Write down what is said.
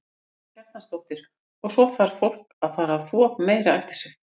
Karen Kjartansdóttir: Og svo þarf fólk að fara að þvo meira eftir sig?